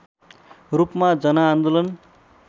रूपमा जनआन्दोलन